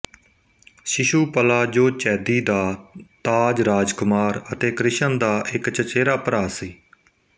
ਸ਼ਿਸ਼ੂਪਲਾ ਜੋ ਚੈਦੀ ਦਾ ਤਾਜ ਰਾਜਕੁਮਾਰ ਅਤੇ ਕ੍ਰਿਸ਼ਨ ਦਾ ਇੱਕ ਚਚੇਰਾ ਭਰਾ ਸੀ